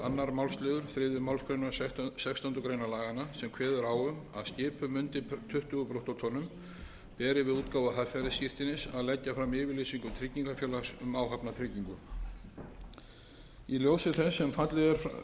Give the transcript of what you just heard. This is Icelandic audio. málsl þriðju málsgrein sextándu grein laganna sem kveður á um að skipum undir tuttugu brúttótonn beri við útgáfu haffærisskírteinis að leggja fram yfirlýsingu tryggingafélags um áhafnartryggingu í ljósi þess sem fallið er frá stærðartakmörkunum